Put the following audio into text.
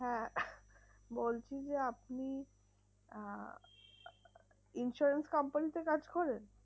হ্যাঁ বলছি যে আপনি আহ insurance company তে কাজ করেন?